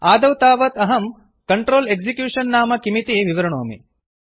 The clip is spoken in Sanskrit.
आदौ तावत् अहं कंट्रोल एक्जिक्यूशन नाम किमिति विवृणोमि